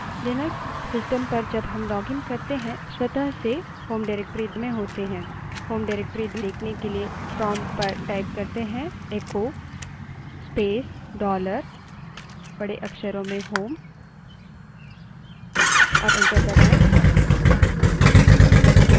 Linux system पर जब हम login करते हैं स्वतः से home directory में होते हैं home directory देखने के लिए prompt पर echo space dollar home type करें और enter दबायें